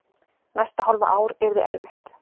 Næsta hálfa ár yrði erfitt.